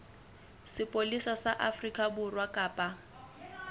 sepolesa sa afrika borwa kapa